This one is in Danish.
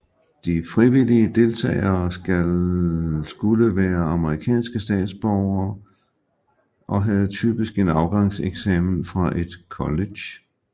De frivillige deltagere skulle være amerikanske statsborgere og havde typisk en afgangseksamen fra et college